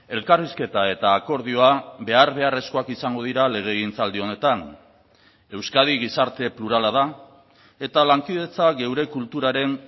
elkarrizketa eta akordioa behar beharrezkoak izango dira legegintzaldi honetan euskadi gizarte plurala da eta lankidetza geure kulturaren